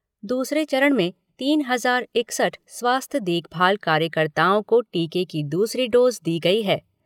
दूसरे चरण में तीन हजार इकसठ स्वास्थ्य देखभाल कार्यकर्ताओं को टीके की दूसरी डोज़ दी गई है।